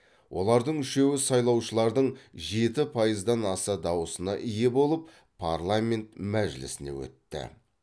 олардың үшеуі сайлаушылардың жеті пайыздан аса дауысына ие болып парламент мәжілісіне өтті